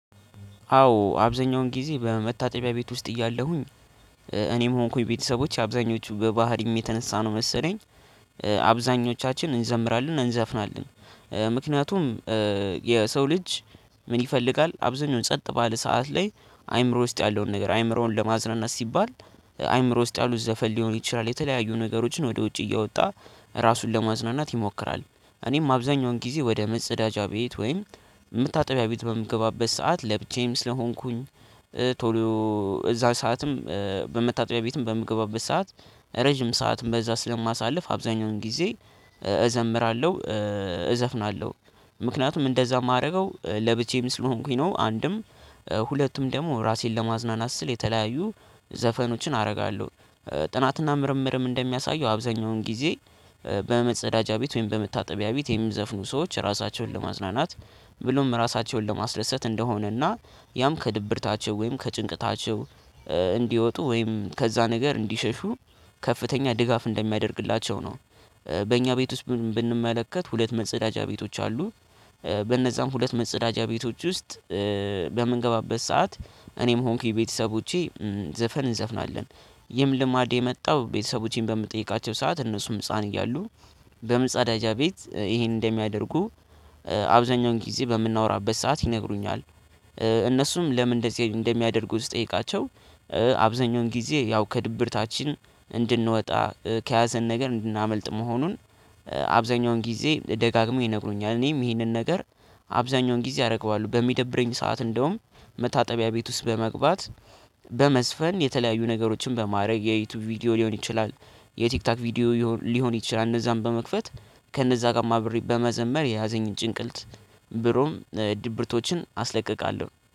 አዎ አብዛኛውን ጊዜ በመታጠቢያ ቤት ውስጥ እያለሁኝ እኔም ሆንኩኝ ቤተሰቦች አብዛኞቹ በባህሪም የተነሳ ነው መሰለኝ። አብዛኞቻችን እንዘምራለን እንዘፍናለን ምክንያቱም የሰው ልጅ ምን ይፈልጋል አብዛኛውን ጸጥ ባለ ሰዓት ላይ አይምሮ ውስጥ ያለውን ነገር አይምሮውን ለማዝናናት ሲባል አይምሮ ውስጥ ያሉ ዘፈን ሊሆን ይችላል። የተለያዩ ነገሮችን ወደ ውጭ እያወጣ ራሱን ለማዝናናት ይሞክራል። እኔም አብዛኛውን ጊዜ ወደ መጸዳጃ ቤት ወይም የምታጠቢያ ቤት በምገባበት ሰዓት ለብቼም ስለሆንኩኝ። ቶሎ እዛ ሰዓትም በመታጠቢያ ቤትም በምገባበት ሰዓት ረጅም ሰዓትም በዛ ስለማሳልፍ አብዛኛውን ጊዜ እዘምራለሁ እዘፍናለሁ ምክንያቱም እንደዛ የማደርገው ለብቻዬን ስለሆንኩኝ ነው። አንድም ሁለቱም ደግሞ ራሴን ለማዝናናት ስል የተለያዩ ዘፈኖችን አደርጋለሁ። ጥናትና ምርምርም እንደሚያሳየው አብዛኛውን ጊዜ በመጸዳጃ ቤት ወይም በመታጠቢያ ቤት የሚዘፍኑ ሰዎች ራሳቸውን ለማዝናናት ብሎም ራሳቸውን ለማስደሰት እንደሆነና ያም ከድብርታቸው ወይም ከጭንቀታቸው እንዲወጡ ወይም ከዛ ነገር እንዲሸሹ ከፍተኛ ድጋፍ እንደሚያደርግላቸው ነው። በእኛ ቤት ውስጥ ብንመለከት ሁለት መጸዳጃ ቤቶች አሉ። በነዛም ሁለት መጸዳጃ ቤቶች ውስጥ በምንገባበት ሰዓት እኔም ሆንኩኝ ቤተሰቦቼ ዘፈን እንዘፍናለን። ይህም ልማድ የመጣው ቤተሰቦቼን በምጠይቃቸው ሰዓት እነሱም ህፃን እያሉ በምጽ አዳጃ ቤት ይሄን እንደሚያደርጉ አብዛኛውን ጊዜ በምናወራበት ሰዓት ይነግሩኛል። እነሱም ለምን እንደዚህ እንደሚያደርጉ ስጠይቃቸው? አብዛኛውን ጊዜ ያው ከድብርታችን እንድንወጣ ከያዘን ነገር እንድናመልጥ መሆኑን። አብዛኛውን ጊዜ ደጋግሞ ይነግሩኛል እኔም ይሄንን ነገር። አብዛኛውን ጊዜ አደርገዋለሁ በሚደብረኝ ሰዓት እንደውም መታጠቢያ ቤት ውስጥ በመግባት በመዝፈን የተለያዩ ነገሮችን በማድረግ የዩቲዩብ ቪዲዮ ሊሆን ይችላል። የቲክታክ ቪዲዮ ሊሆን ይችላል እነዛን በመክፈት ከእነዛ ጋር ማብሪት በመዘመር የያዘኝ ጭንቅልት ብሩም ድብርቶችን አስለቅቃለሁ